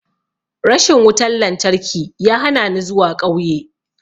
Rashin wutan-lantarki ya hanani zuwa ƙauye.